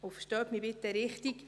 Verstehen Sie mich bitte richtig: